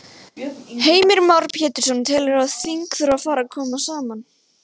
Heimir Már Pétursson: Telurðu að þing þurfi að fara að koma saman?